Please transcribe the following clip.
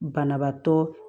Banabaatɔ